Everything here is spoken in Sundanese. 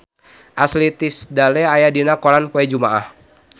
Ashley Tisdale aya dina koran poe Jumaah